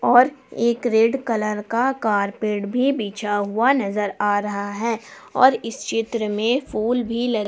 और एक red colour का कारपेट भी बिछा हुआ नजर आ रहा है और इस चित्र में फूल भी लगे--